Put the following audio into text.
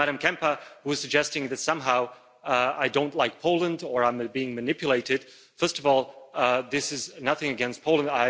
To Ms Kempa, who is suggesting that somehow I don't like Poland or I am being manipulated, first of all, this is nothing against Poland.